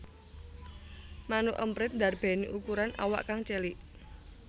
Manuk emprit ndarbèni ukuran awak kang cilik